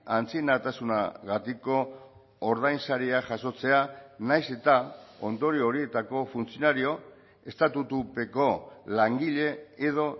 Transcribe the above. antzinatasunagatiko ordainsaria jasotzea nahiz eta ondorio horietako funtzionario estatutupeko langile edo